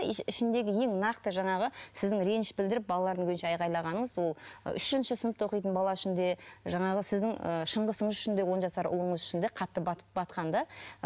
и ішіндегі ең нақты жаңағы сіздің реніш білдіріп балалардың көзінше айғайлағаныңыз ол үшінші сынып оқитын бала үшін де жаңағы сіздің ы шыңғысыңыз үшін де он жасар ұлыңыз үшін де қатты батып батқан да